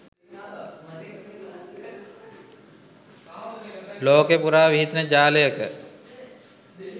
ලෝකෙ පුරා විහිදෙන ජාලයක